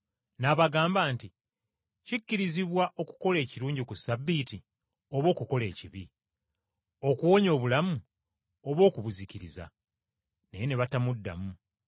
N’abagamba nti, “Kikkirizibwa okukola ekirungi ku Ssabbiiti oba okukola ekibi? Okuwonya bulamu oba okubuzikiriza?” Naye ne batamuddamu.